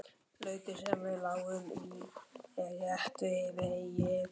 Lautin sem við lágum í er rétt við veginn.